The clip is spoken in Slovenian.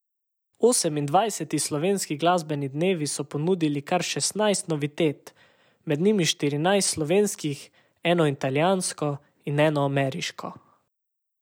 Osemindvajseti Slovenski glasbeni dnevi so ponudili kar šestnajst novitet, med njimi štirinajst slovenskih, eno italijansko in eno ameriško.